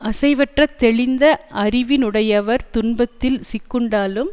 அசைவற்ற தெளிந்த அறிவினையுடையவர் துன்பத்தில் சிக்குண்டாலும்